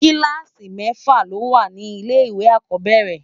Kìlásí mèfá ló wá ni ilé iwé ákòbèrè